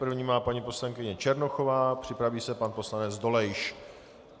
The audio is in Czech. První má paní poslankyně Černochová, připraví se pan poslanec Dolejš.